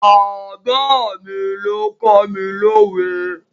Bàbá mi ló kọ́ mi lówe.